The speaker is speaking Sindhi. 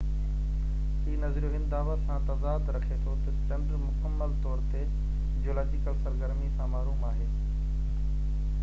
هي نظريو هن دعويٰ سان تضاد رکي ٿو تہ چنڊ مڪمل طور تي جيولاجيڪل سرگرمي سان محروم آهي